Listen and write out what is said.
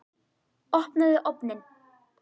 Opnaðu ofninn!